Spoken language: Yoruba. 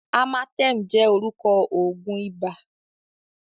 Amatem jẹ́ orúkọ òògùn ibà.